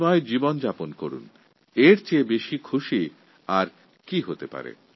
মানুষের জীবনে সুখশান্তি আসুক এর থেকে বড় আনন্দের বিষয় কী হতে পারে